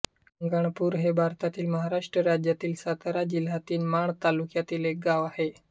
शिंगणापूर हे भारतातील महाराष्ट्र राज्यातील सातारा जिल्ह्यातील माण तालुक्यातील एक गाव आहे